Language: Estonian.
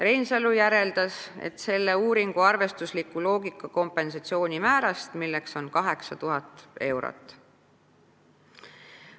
Reinsalu järeldas, et selle uuringu arvestusliku loogika järgi on kompensatsiooni määr 8000 eurot.